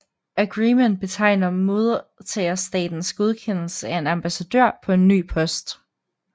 Agrement betegner modtagerstatens godkendelse af en ambassadør på en ny post